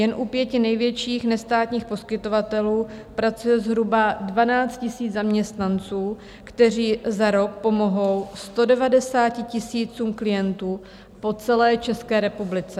Jen u pěti největších nestátních poskytovatelů pracuje zhruba 12 000 zaměstnanců, kteří za rok pomohou 190 000 klientů po celé České republice.